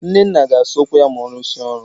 Nnenna ga-asa ụkwụ ya ma ọ rụsịa ọrụ